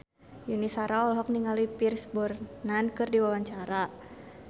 Yuni Shara olohok ningali Pierce Brosnan keur diwawancara